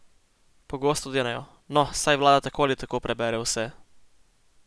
Pogosto denejo: "No, saj vlada tako ali tako prebere vse.